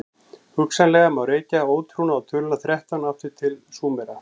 hugsanlega má rekja ótrúna á töluna þrettán allt aftur til súmera